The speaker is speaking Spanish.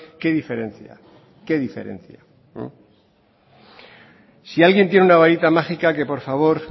qué diferencia qué diferencia si alguien tiene una varita mágica que por favor